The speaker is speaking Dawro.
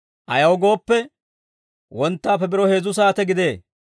Ayaw gooppe, wonttaappe biro heezzu saate gidee.